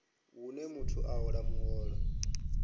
hune muthu a hola muholo